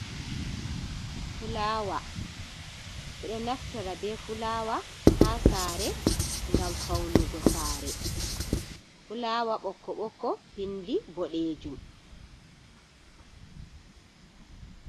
Fulawa bido naftora be fulawa ha sare gam faunugo sare fulawa bokko bokko pindi bodejum.